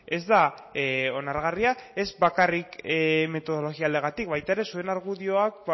ez da onargarria ez bakarrik metodologia aldetik baita ere zuen argudioak